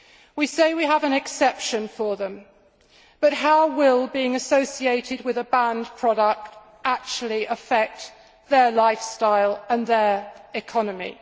We say we have an exception for them, but how will being associated with a banned product actually affect their lifestyle and their economy?